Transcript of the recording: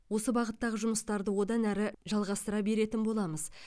осы бағыттағы жұмыстарды одан әрі жалғастыра беретін боламыз